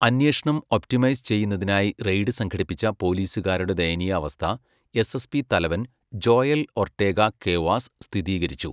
അന്വേഷണം ഒപ്റ്റിമൈസ് ചെയ്യുന്നതിനായി റെയ്ഡ് സംഘടിപ്പിച്ച പോലീസുകാരുടെ ദയനീയാവസ്ഥ എസ്എസ്പി തലവൻ ജോയൽ ഒർട്ടേഗ ക്വേവാസ് സ്ഥിതീകരിച്ചു.